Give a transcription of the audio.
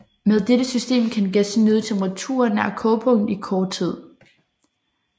Med dette system kan gæsten nyde temperaturer nær kogepunktet i kort tid